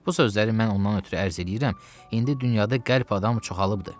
Bu sözləri mən ondan ötrü ərz eləyirəm, indi dünyada qəlb adam çoxalıbdır.